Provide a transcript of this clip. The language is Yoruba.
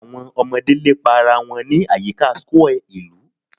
Awọn ọmọde lepa ara wọn ni ayika square ilu